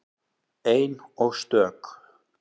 Ein og stök.